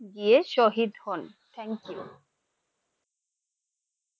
গিয়ে শহীদ হন thank you